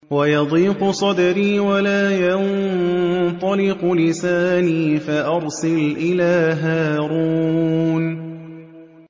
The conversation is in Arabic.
وَيَضِيقُ صَدْرِي وَلَا يَنطَلِقُ لِسَانِي فَأَرْسِلْ إِلَىٰ هَارُونَ